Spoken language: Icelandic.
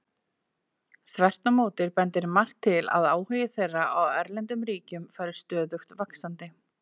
Þvert á móti bendir margt til að áhugi þeirra á erlendum ríkjum fari stöðugt vaxandi.